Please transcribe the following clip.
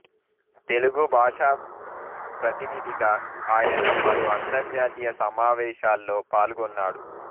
తెలుగు భాషా ప్రతినిథిగా ఆయన పలు అంతర్జాతీయ సమావేశాల్లో పాల్గొన్నాడు